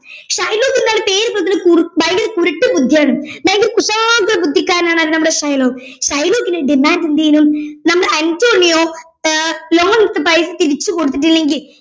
Shylock എന്താണ് പേര് പോലെത്തന്നെ കുറു ഭയങ്കര കുരുട്ട് ബുദ്ധിയാണ് ഭയങ്കര കുശാഗ്ര ബുദ്ധിക്കാരനാണ് ആര് നമ്മുടെ ഷൈലോക്ക് ഷൈലോക്കിന്റെ demand എന്ത് ചെയ്യുന്നു നമ്മുടെ അന്റോണിയോ അഹ് loan എടുത്ത പൈസ തിരിച്ച് കൊടുത്തിട്ടില്ലെങ്കിൽ